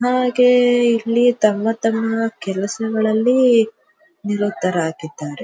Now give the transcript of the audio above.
ಹಾಗೆ ಇಲ್ಲಿ ತಮ್ಮ ತಮ್ಮ ಕೆಲಸಗಳಲ್ಲಿ ನಿರತರಾಗಿದ್ದಾರೆ.